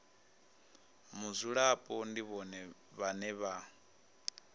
mudzulapo ndi vhone vhane vha